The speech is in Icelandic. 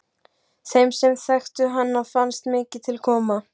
Þeim sem þekktu hana fannst mikið til koma.